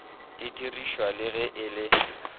didirišwa le ge e le